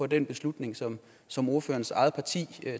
den beslutning som som ordførerens eget parti